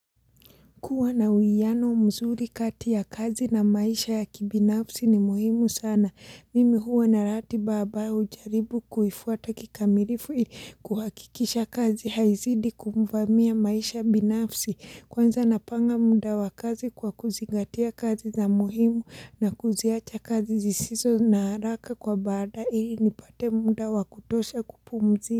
Kuwa na uiyano mzuri kati ya kazi na maisha ya kibinafsi ni muhimu sana. Mimi huwa na ratiba ambayo ujaribu kuifuata kikamilifu ili kuhakikisha kazi haizidi kumvamia maisha binafsi. Kwanza napanga muda wa kazi kwa kuzingatia kazi za muhimu na kuziacha kazi zisizo na haraka kwa baadae ili nipate muda wa kutosha kupumzi.